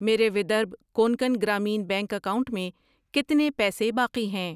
میرے Vidarbha Konkan Gramin Bank account میں کتنے پیسے باقی ہیں؟